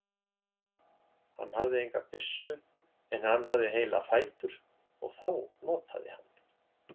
Hann hafði enga byssu en hann hafði heila fætur og þá notaði hann.